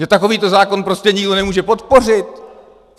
Že takovýto zákon prostě nikdo nemůže podpořit?